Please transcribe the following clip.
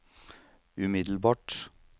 umiddelbart